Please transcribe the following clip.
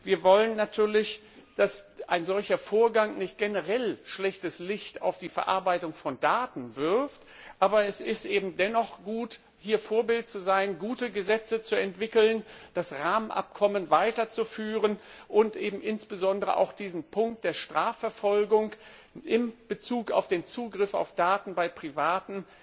Wir wollen natürlich nicht, dass ein solcher Vorgang generell ein schlechtes Licht auf die Verarbeitung von Daten wirft, aber es ist gut, hier Vorbild zu sein, gute Gesetze zu entwickeln, das Rahmenabkommen weiterzuführen und insbesondere auch diesen Punkt der Strafverfolgung in Bezug auf den Zugriff auf Daten bei Privaten